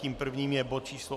Tím prvním je bod číslo